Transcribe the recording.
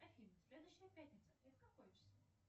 афина следующая пятница это какое число